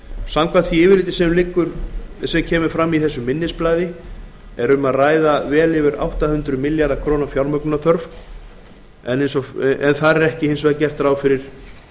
samkvæmt því yfirliti sem kemur fram í þessu minnisblaði er um að ræða vel yfir átta hundruð milljarða króna fjármögnunarþörf en þar er hins vegar ekki gert ráð fyrir